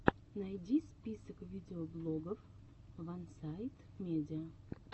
найди список видеоблогов вансайдмедиа